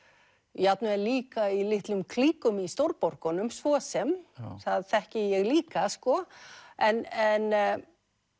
jafnvel líka í litlum klíkum í svo sem það þekki ég líka sko en